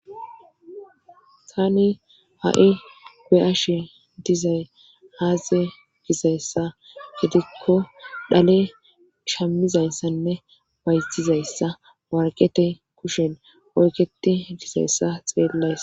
tani ha'i be'ashe dizay aze gizayssa gidikko dhale shammizayssanne bayzizayssa warqete kushen oyiqeti dizayssa xeellays